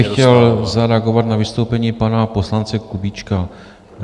Já bych chtěl zareagovat na vystoupení pana poslance Kubíčka.